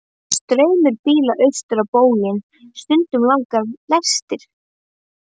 Það er straumur bíla austur á bóginn, stundum langar lestir.